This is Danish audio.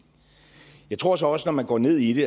jeg tror så også når man går ned i det